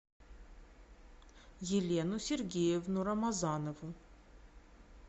елену сергеевну рамазанову